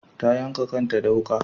Ta yanka kanta da wuka